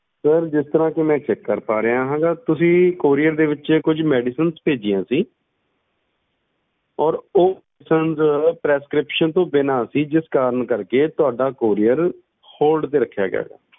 ਜਿਸ ਤਰ੍ਹਾਂ ਕੀ ਮੈਂ check ਕਰ ਪਾ ਰਿਹਾ ਆ ਤੁਸੀਂ ਕੁਜ medicinessend ਕੀਤੀਆਂ ਸੀ ਤੇ ਓਹਨਾ ਵਿਚ ਕੁਛ medicines ਇੱਦਾਂ ਦੀ ਸੀ ਜਿਹੜੀ ਤੁਸੀਂ ਬਿਨਾ prescription ਦੇ ਨਹੀਂ ਲੈ ਸਕਦੇ ਇਸ ਕਰਕੇ ਤੁਹਾਡਾ courierhold ਤੇ ਲਗਾ ਦਿੱਤਾ ਗਿਆ